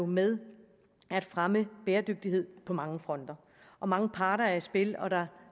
med at fremme bæredygtighed på mange fronter mange parter er i spil og der